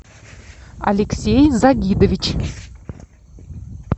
алексей загидович